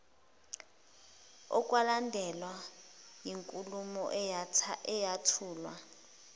okwalandelwa yinkulumo eyathulwa